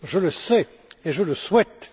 Je le sais et je le souhaite.